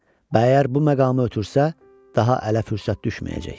Əgər bu məqamı ötürsə, daha ələ fürsət düşməyəcək.